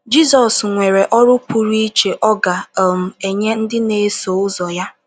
Jizọs nwere ọrụ pụrụ iche ọ ga um - enye ndị na - eso ụzọ ya.